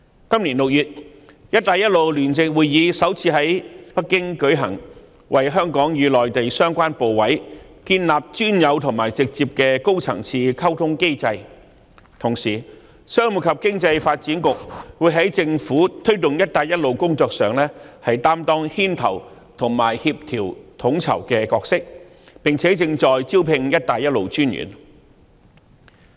今年6月，"一帶一路"聯席會議首次於北京舉行，為香港與內地相關部委建立專有及直接的高層次溝通機制；同時，商務及經濟發展局會在政府推動"一帶一路"工作上擔當牽頭及協調統籌的角色，並且正在招聘"一帶一路"專員。